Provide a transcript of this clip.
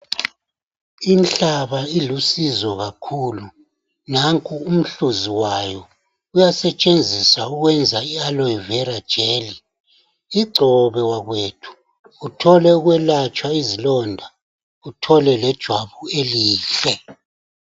Inhlaba ilusizo kakhulu nanku umhluzi wayo uyasetshenziswa ukwenza ialoe vera gel igcobe wakwethu uthole ukwelatshwa izilonda uthole lejwabu elihle.